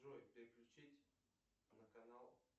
джой переключить на канал